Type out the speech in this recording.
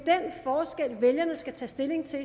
forskel vælgerne skal tage stilling til